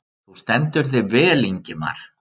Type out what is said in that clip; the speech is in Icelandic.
Þú stendur þig vel, Ingimar!